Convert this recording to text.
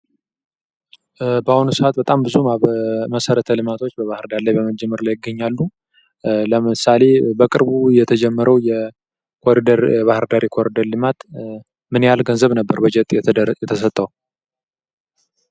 በአሁኑ ሰዓት በባህርዳር ላይ ብዙ መሰረተ ልማቶች በመጀመር ላይ ይገኛሉ ለምሳሌ በቅርቡ የተጀመረው የባህር ዳር የኮሪደር ልማት ምን ያህል በጀት ነበረ የተሰጠው?